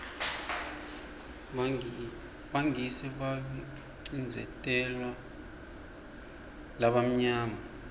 bangisi bebabacindzeteu balabamnyama